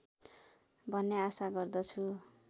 भन्ने आशा गर्दछु